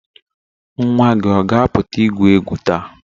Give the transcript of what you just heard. Nwa gị ọ ga-apụta igwu egwu taa?